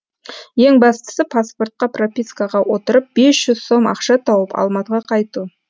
ең бастысы паспортқа пропискаға отырып бес жүз сом ақша тауып алматыға қайту